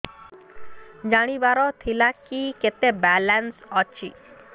ଜାଣିବାର ଥିଲା କି କେତେ ବାଲାନ୍ସ ଅଛି